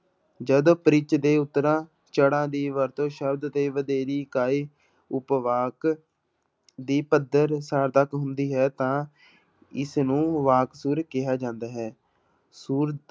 ਜਦ ਪਿੱਚ ਦੇ ਉਤਰਾਅ ਚੜਾਅ ਦੀ ਵਰਤੋਂ ਸ਼ਬਦ ਦੇ ਵਧੇਰੀ ਇਕਾਈ ਉਪਵਾਕ ਦੀ ਪੱਧਰ ਸਾਰਥਕ ਹੁੰਦੀ ਹੈ ਤਾਂ ਇਸਨੂੰ ਵਾਕ ਸੁਰ ਕਿਹਾ ਜਾਂਦਾ ਹੈ, ਸੁਰ